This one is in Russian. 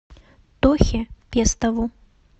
тохе пестову